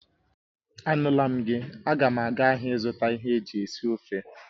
Anula m gi, aga m aga ahịa ịzụta ihe eji esi ofe